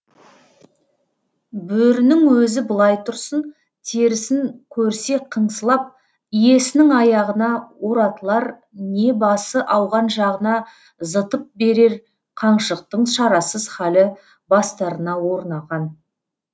бөрінің өзі былай тұрсын терісін көрсе қыңсылап иесінің аяғына оратылар не басы ауған жағына зытып берер қаншықтың шарасыз халі бастарына орнаған